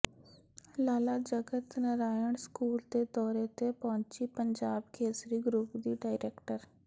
ਲਾਲਾ Jagat Narayan school ਦੇ ਦੌਰੇ ਤੇ ਪਹੁੰਚੀ ਪੰਜਾਬ ਕੇਸਰੀ ਗਰੁੱਪ ਦੀ ਡਾਇਰੈਕਟਰ